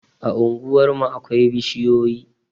A unguwarmu akwai bishiyoyi